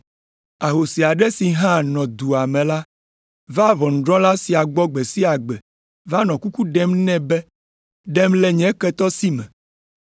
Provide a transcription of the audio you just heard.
Ahosi aɖe si hã nɔ dua me la vaa ʋɔnudrɔ̃la sia gbɔ gbe sia gbe va nɔ kuku ɖem nɛ be, ‘Ɖem le nye ketɔ si me.’